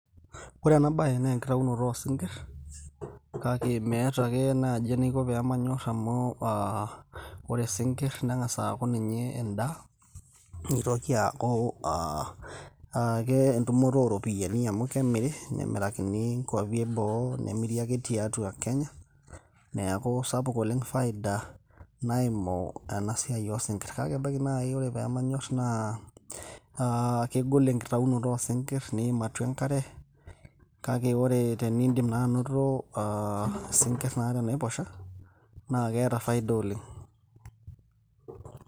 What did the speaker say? ore ena baye naa enkitaunoto oosinkir, kake meeta ake naaji enaiko peemanyorr amu aa ore isinkirr neng'as aaku ninye endaa nitoki aaku ake entumoto ooropiyiani amu kemiri nemirakini inkuapi eboo nemiri ake tiatua kenya neeku sapuk oleng faida naimu ena siai oosinkirr kake ebaiki naaji ore peemanyorr naa kegol enkitaunoto oo sinkirr niim atua enkare kake ore teniindim naa anoto aa isinkirr naa tenaiposha naa keeta faida oleng.